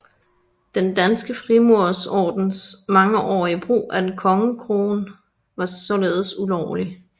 Den Danske Frimurerordens mangeårige brug af en kongekrone var således ulovlig